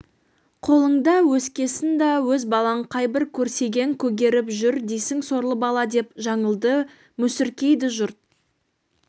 қолыңда өскесін да өз балаң қайбір көсегең көгеріп жүр дейсің сорлы бала деп жаңылды мүсіркейді жұрт